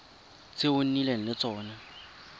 tse o nnileng le tsone